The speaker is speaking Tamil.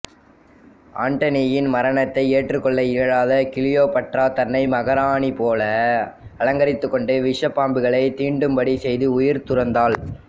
ஆண்டனியின் மரணத்தினை ஏற்றுக்கொள்ள இயலாத கிளியோபட்ரா தன்னை மகாராணி போல அலங்கரித்துக் கொண்டு விஷப்பாம்புகளை தீண்டும்படி செய்து உயிர் துறந்தாள்